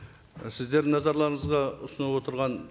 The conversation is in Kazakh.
і сіздердің назарларыңызға ұсынылып отырған